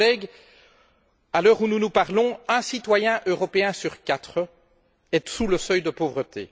Chers collègues, à l'heure où nous nous parlons, un citoyen européen sur quatre vit sous le seuil de pauvreté.